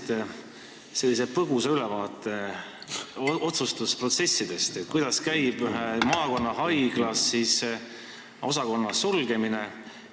Te andsite põgusa ülevaate otsustusprotsessist, kuidas käib ühe maakonnahaigla osakonna sulgemine.